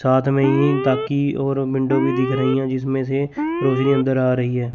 साथ में ही ताकि और विंडो भी दिख रही है जिसमें से रोशनी अंदर आ रही है।